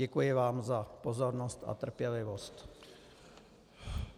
Děkuji vám za pozornost a trpělivost.